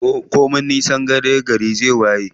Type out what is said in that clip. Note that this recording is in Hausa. Komi nisan dare gari zai waye.